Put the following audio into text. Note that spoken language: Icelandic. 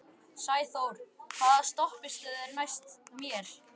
Sæþór, hvaða stoppistöð er næst mér?